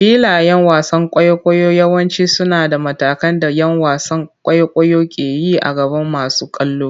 Filayen wasan kwaikwayo yawanci suna da matakan da ƴan wasan kwaikwayo ke yi a gaban masu kallo.